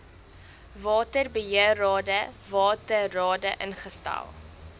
waterbeheerrade waterrade ingestel